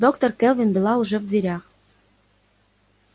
доктор кэлвин была уже в дверях